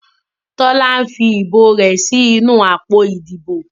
Tola nfí ìbò rẹ sí nù àpótí Ìdìbò.